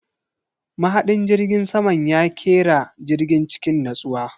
Mahadin jirgin saman ya kera jirgin cikin natsuwa.